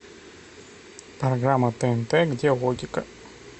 программа тнт где логика